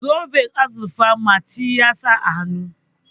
zoben azurfa mati ya sa a hannu